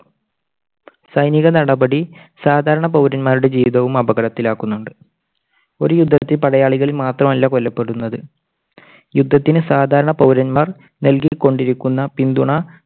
സൈനിക നടപടി സാധാരണ പൗരന്മാരുടെ ജീവിതവും അപകടത്തിലാക്കുന്നുണ്ട്. ഒരു യുദ്ധത്തിൽ പടയാളികൾ മാത്രമല്ല കൊല്ലപ്പെടുന്നത്. യുദ്ധത്തിന് സാധാരണ പൗരന്മാർ നൽകിക്കൊണ്ടിരിക്കുന്ന പിന്തുണ